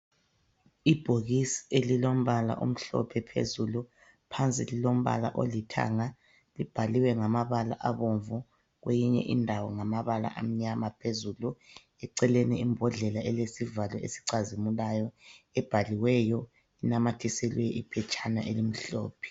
Ibhokisi elilombala omhlophe phezulu, phansi lilombala olithanga libhaliwe ngamabala abomvu, kweyinye indawo ngamabala amnyama phezulu, eceleni imbodlela elesivalo esicazimulayo ebhaliweyo inamathiselwe iphetshana elimhlophe.